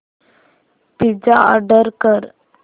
pizza order कर